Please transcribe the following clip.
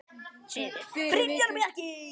Synir: Brynjar og Bjarki.